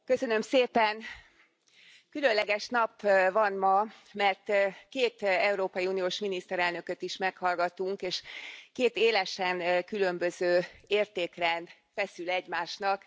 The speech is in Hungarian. Tisztelt Elnök Úr, Köszönöm szépen! Különleges nap van ma, mert két európai uniós miniszterelnököt is meghallgattunk, és két élesen különböző értékrend feszül egymásnak.